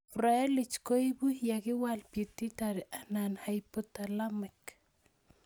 Froelich koipu ye kiwal Pituitary anan hypotalamic